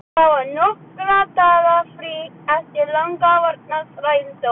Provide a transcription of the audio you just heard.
Það var nokkurra daga frí eftir langvarandi þrældóm.